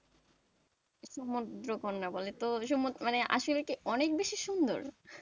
সমুদ্র কন্যা বলে তো সমু~ আসলে কি অনেক বেশি সুন্দর,